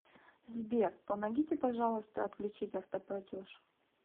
сбер помогите пожалуйста отключить автоплатеж